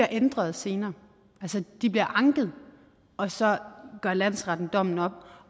ændret senere altså de bliver anket og så gør landsretten dommen om